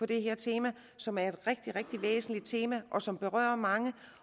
det her tema som er et rigtig rigtig væsentligt tema og som berører mange